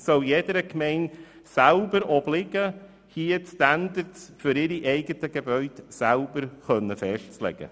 Es soll jeder Gemeinde selber obliegen, die Standards für ihre Gebäude festzulegen.